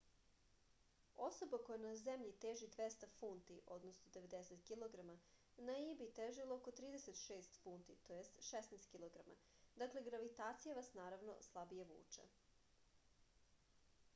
особа која на земљи тежи 200 фунти 90 кг на ији би тежила око 36 фунти 16 кг. дакле гравитација вас наравно слабије вуче